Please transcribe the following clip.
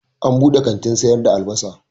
An buɗe kantin sayar da albasa.